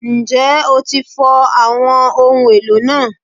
Njẹ o ti fọ awọn ohun elo naa?